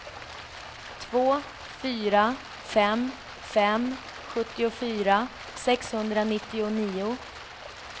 två fyra fem fem sjuttiofyra sexhundranittionio